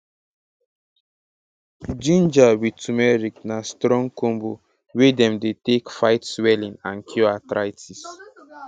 ginger with turmeric be strong combo wey dem dey take fight swelling and cure arthritis